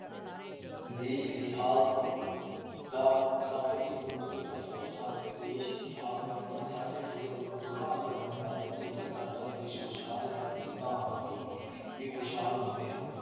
ਦੇਸ਼ ਦੀ ਹਾਲਤ ਦਾ ਸਾਡੇ ਜੀਵਨ ਉੱਤੇ ਅਸਰ-ਸਾਡੇ ਦੇਸ਼ ਦੀ ਹਾਲਤ ਦਾ ਸਾਡੇ ਜੀਵਨ ਉੱਪਰ ਡੂੰਘਾ ਅਸਰ ਪੈਂਦਾ ਹੈ। ਜੇਕਰ ਸਾਡਾ ਦੇਸ਼ ਖੁਸਹਾਲ ਹੈ, ਤਾਂ ਅਸੀ ਵੀ ਖੁਸ਼ਹਾਲ ਹੁੰਦੇ ਹਾਂ ।